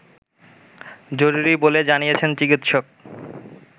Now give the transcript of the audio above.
জরুরি বলে জানিয়েছেন চিকিৎসক